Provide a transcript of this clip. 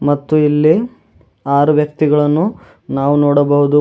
ಮತ್ತು ಇಲ್ಲಿ ಆರು ವ್ಯಕ್ತಿಗಳನ್ನು ನಾವು ನೋಡಬಹುದು.